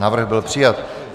Návrh byl přijat.